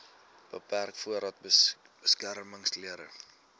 beperk voordat beskermingsklere